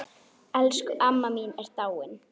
Elsku amma mín er dáin.